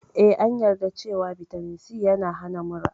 Eh, Ee, an yarda cewa Vitamin C yana hana mura.